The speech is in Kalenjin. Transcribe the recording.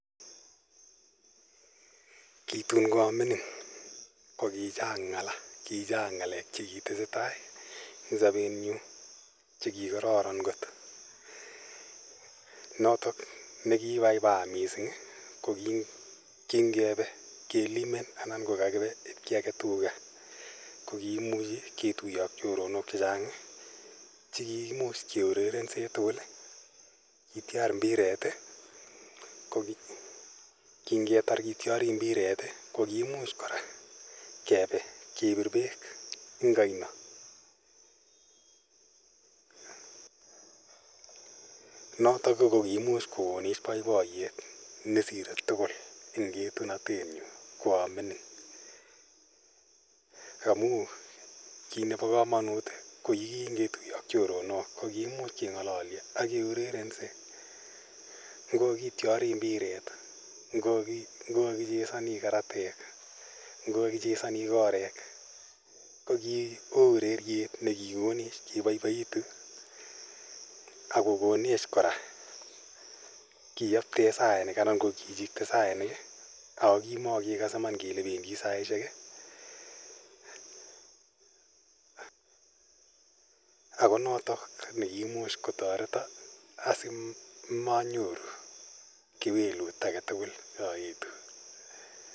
Kitun ko a mining' ko ki chang' ng'ala, ki chang' ng'alek che kitese tai rng' sapenyu che kikararan kot. Notok ne kiipaipaa missing' ko ngepe kelimen anan ko kakipe ip kiyake tuga, ko kiimuchi ketuye ak choronok che chang' che kikimuch keurerense tugul, ki tyar mbiret. Ko kingetar kityari mbiret ko kiimuch kora kepe kepir peek eng' aino notok ko kiimuch kokonet poipoyet nesire tugul eng' etunatetnyu ko a mining'. Amu kiit nepo kamanut ko kiimuch ketuye ak choronok ak keurerense ngo kakityari mbiret, ngo kakichesani karatek, ngo kakichesani korek ko ki oo urerietne kikonech kepaipaitu ak ko konech kora keyapte sainik anan ko kichikte sainik ako kimakekase iman kopendi saishek ako notok ne kiimuch kotareta asimanyoru kewelut age tugul aetu.